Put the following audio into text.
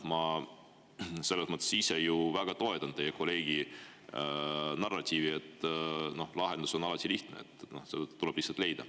Ma ise ju väga toetan teie kolleegi narratiivi, et lahendus on alati lihtne, see tuleb lihtsalt leida.